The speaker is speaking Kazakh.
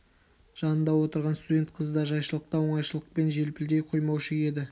жанында отырған студент қызы да жайшылықта оңайшылықпен желпілдей қоймаушы еді